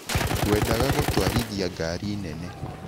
Ngwendaga gũtwarithia ngari nene.